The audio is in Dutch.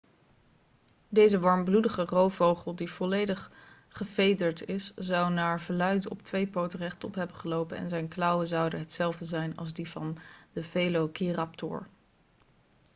deze warmbloedige roofvogel die volledig gevederd is zou naar verluid op twee poten rechtop hebben gelopen en zijn klauwen zouden hetzelfde zijn als die van de velociraptor